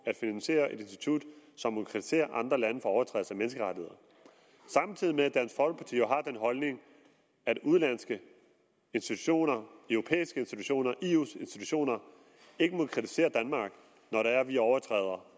at finansiere et institut som må kritisere andre lande for overtrædelse af menneskerettigheder samtidig med at dansk folkeparti jo har den holdning at udenlandske institutioner europæiske institutioner eus institutioner ikke må kritisere danmark når vi overtræder